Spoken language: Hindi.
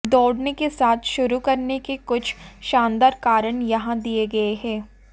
दौड़ने के साथ शुरू करने के कुछ शानदार कारण यहां दिए गए हैं